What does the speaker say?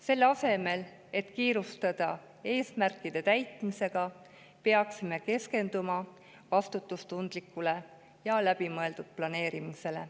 Selle asemel, et kiirustada eesmärkide täitmisega, peaksime keskenduma vastutustundlikule ja läbimõeldud planeerimisele.